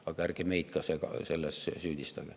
Aga ärge meid ka selles süüdistage.